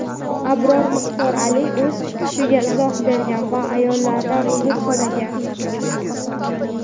Abror Muxtor Aliy o‘z chiqishiga izoh bergan va ayollardan uzr so‘ragan.